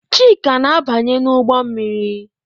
Chika na-abanye n'ụgbọ mmiri.